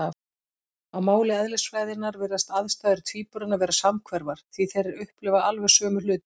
Á máli eðlisfræðinnar virðast aðstæður tvíburanna vera samhverfar, því þeir upplifa alveg sömu hluti.